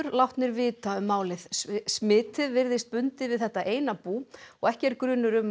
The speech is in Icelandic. látnir vita um málið smitið virðist bundið við þetta eina bú og ekki er grunur um